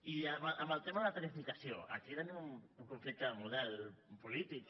i en el tema de la tarifació aquí tenim un conflicte de model polític